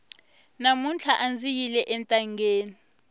mamuntlha andzi yile entangeni